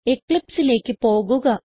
eclipseലേക്ക് പോകുക